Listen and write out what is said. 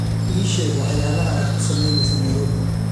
ii sheeg waxyaalaha aad ku samaynayso nairobi